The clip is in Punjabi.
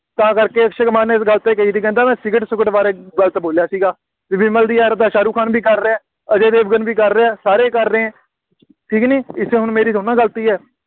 ਤਾਂ ਕਰਕੇ ਅਕਸ਼ੇ ਕੁਮਾਰ ਨੇ ਇਸ ਗੱਲ 'ਤੇ ਕਹੀ ਸੀ, ਕਹਿੰਦਾ ਮੈਂ ਸਿਗਰਟ ਸੁਗਰਟ ਬਾਰੇ ਗਲਤ ਬੋਲਿਆ ਸੀਗਾ, ਵਿਮਲ ਦੀ ad ਤਾਂ ਸ਼ਾਹਰੁੱਖ ਖਾਨ ਵੀ ਕਰ ਰਿਹਾ, ਅਜੇ ਦੇਵਗਨ ਵੀ ਕਰ ਰਿਹਾ ਸਾਰੇ ਕਰ ਰਿਹੇ, ਠੀਕ ਨਹੀਂ, ਇਸ ਵਿੱਚ ਹੁਣ ਮੇਰੀ ਥੋੜ੍ਹੀ ਨਾ ਗਲਤੀ ਹੈ।